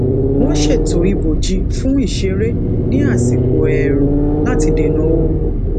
wón ṣètò ibòji fun iṣeré ní asiko èèrùn lati dena oru